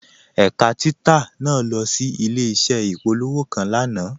Ẹ̀kà títà naà lọ sí ilẹ̀-iṣẹ̀ ìpòlọ̀wọ́̀ kan lánà.